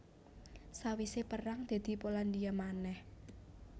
Sawisé perang dadi Polandia manèh